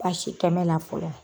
tɔnɔn la fɔlɔ.